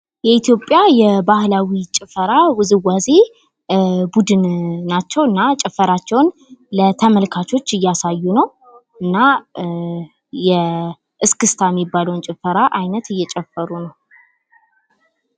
የኢትዮጵያ የባህላዊ ጭፈራ ዉዝዋዜ ቡድን ናቸው እና ጭፈራቸዉን ለተመልካች እያሳዩ ነው ፤ እና እስክስታ የሚባለዉን የጭፈራ አይነት እያሳዩ ነው።